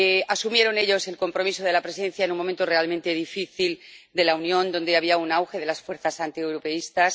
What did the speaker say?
Asumieron ellos el compromiso de la Presidencia en un momento realmente difícil de la Unión, donde había un auge de las fuerzas antieuropeístas.